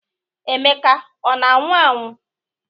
Emeka ọ na-anwu anwụ?